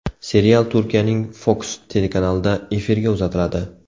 Serial Turkiyaning Fox telekanalida efirga uzatiladi.